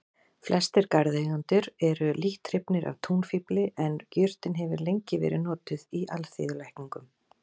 Flestir garðeigendur eru lítt hrifnir af túnfífli en jurtin hefur lengi verið notuð í alþýðulækningum.